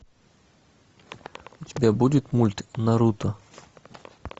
у тебя будет мульт наруто